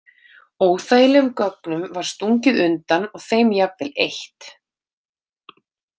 Óþægilegum gögnum var stungið undan og þeim jafnvel eytt.